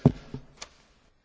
Herr Präsident!